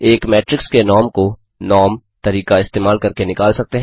एक मेट्रिक्स के नॉर्म को norm तरीका इस्तेमाल करके निकाल सकते हैं